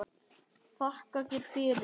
Þakka þér fyrir